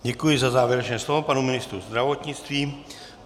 Děkuji za závěrečné slovo panu ministru zdravotnictví.